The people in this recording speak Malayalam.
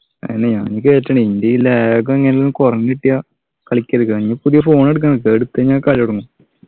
അതെന്നെ ഞാനും കേറ്റണം ഇന്റെ ഈ lag ഉം എങ്ങനെൽ കുറഞ്ഞു കിട്ടിയാ കളിക്കെടുക്കാൻ കയ്യു ഇനി പുതിയ phone എടുക്കാറിഞ്ഞിട്ടില്ലേ അതെടുത്ത് കഴിഞ്ഞാ കളി തുടങ്ങും